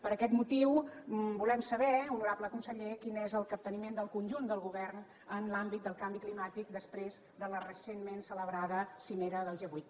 per aquest motiu volem saber honorable conseller quin és el capteniment del conjunt del govern en l’àmbit del canvi climàtic després de la recentment celebrada cimera del g vuit